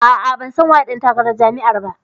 A'a, ban san waye ɗan takarar jam'iyar ba